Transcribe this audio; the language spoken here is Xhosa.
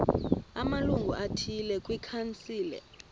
amalungu athile kwikhansile